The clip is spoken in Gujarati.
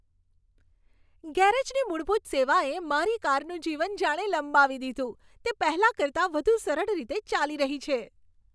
ગેરેજની મૂળભૂત સેવાએ મારી કારનું જીવન જાણે લંબાવી દીધું, તે પહેલાં કરતા વધુ સરળ રીતે ચાલી રહી છે!